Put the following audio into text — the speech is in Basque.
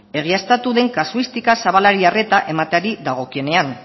egiaztatu den kasuistika zabalari arreta emateari dagokionean